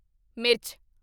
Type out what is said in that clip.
ਮਿਰਚ